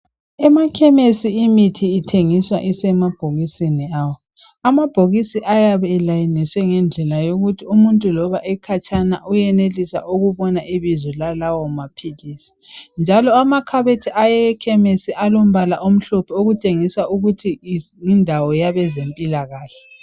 Emakhemisi imthi ithengiswa isemabhokisini awo. Amabhokisi ayabe elayiniswe ngendlela yokuthi umuntu loba ekhatshana uyenelisa ukubona loba ibizo lalawo maphilisi njalo amakhabothi ekhemisi alombala omhlophe okutshengisa ukuthi yindawo yabe zempilakahle.